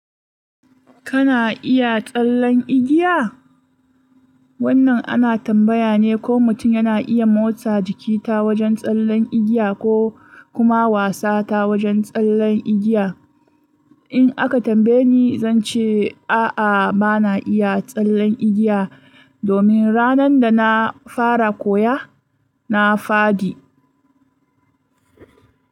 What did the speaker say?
Kana iya tsallen igiya? Wannan ana tambaya ne ko mutum yana iya motsa jiki ta wajen tsallen igiya ko kuma wasa ta wajen tsallen igiya. In aka tambaye ni, zan ce a'a bana iya tsallen igiya, domin ranan da na fara koya, na fadi.